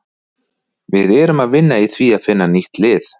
Við erum að vinna í því að finna nýtt lið.